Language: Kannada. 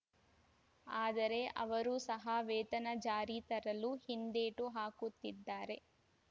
ಆದರೆ ಅವರೂ ಸಹಾ ವೇತನ ಜಾರಿ ತರಲು ಹಿಂದೇಟು ಹಾಕುತ್ತಿದ್ದಾರೆ